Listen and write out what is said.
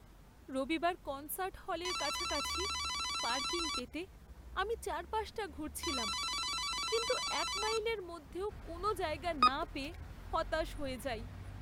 রবিবার কনসার্ট হলের কাছাকাছি পার্কিং পেতে আমি চারপাশটা ঘুরছিলাম, কিন্তু এক মাইলের মধ্যেও কোনো জায়গা না পেয়ে হতাশ হয়ে যাই।